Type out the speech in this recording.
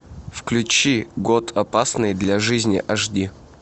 включи год опасный для жизни аш ди